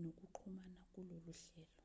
nokuxhuma kulolu hlelo